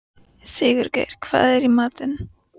Sigurgeir, hvað er í matinn?